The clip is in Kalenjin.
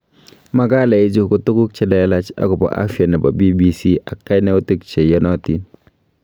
Makalaichu ko tuguuk cheleelach akobo afya nebo BBC ak kainoutik che yatatiin